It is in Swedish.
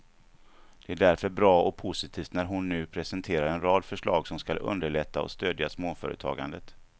Det är därför bra och positivt när hon nu presenterar en rad förslag som skall underlätta och stödja småföretagandet.